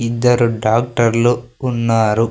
ఇద్దరు డాక్టర్లు ఉన్నారు.